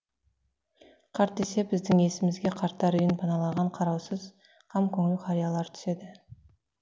қарт десе біздің есімізге қарттар үйін паналаған қараусыз қамкөңіл қариялар түседі